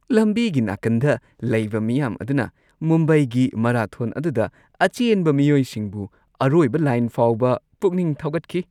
ꯂꯝꯕꯤꯒꯤ ꯅꯥꯀꯟꯗ ꯂꯩꯕ ꯃꯤꯌꯥꯝ ꯑꯗꯨꯅ ꯃꯨꯝꯕꯥꯏꯒꯤ ꯃꯔꯥꯊꯣꯟ ꯑꯗꯨꯗ ꯑꯆꯦꯟꯕ ꯃꯤꯑꯣꯏꯁꯤꯡꯕꯨ ꯑꯔꯣꯏꯕ ꯂꯥꯏꯟ ꯐꯥꯎꯕ ꯄꯨꯛꯅꯤꯡ ꯊꯧꯒꯠꯈꯤ ꯫